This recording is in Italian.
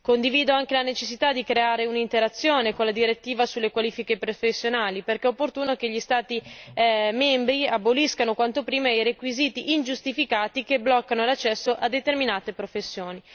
Condivido anche la necessità di creare un'interazione con la direttiva sulle qualifiche professionali, perché è opportuno che gli Stati membri aboliscano quanto prima i requisiti ingiustificati che bloccano l'accesso a determinate professioni.